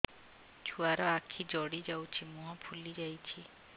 ଛୁଆର ଆଖି ଜଡ଼ି ଯାଉଛି ମୁହଁ ଫୁଲି ଯାଇଛି